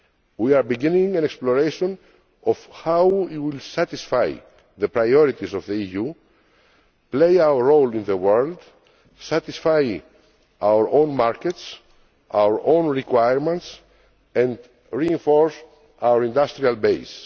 We are beginning to explore how we will satisfy the priorities of the EU, play our role in the world, satisfy our own markets and our own requirements, and reinforce our industrial base.